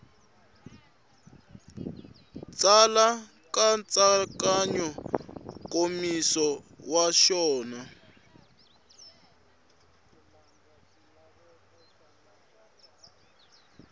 tsala nkatsakanyo nkomiso wa xona